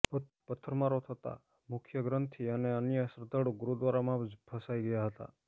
પથ્થરમારો થતાં મુખ્યગ્રંથિ અને અન્ય શ્રદ્ધાળુ ગુરુદ્વારામાં જ ફસાઈ ગયા હતા